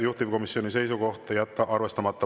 Juhtivkomisjoni seisukoht on jätta arvestamata.